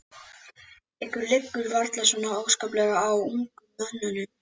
Ykkur liggur varla svo óskaplega á, ungum mönnunum.